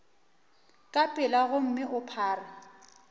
ka pela gomme o phare